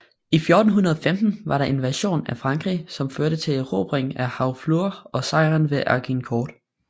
I 1415 var der invasion af Frankrig som førte til erobringen af Harfleur og sejren ved Agincourt